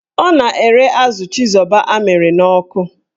Ọ na-ere azụ chizoba amịrị n'ọkụ.